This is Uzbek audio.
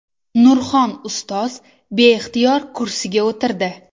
Nurxon ustoz beixtiyor kursiga o‘tirdi.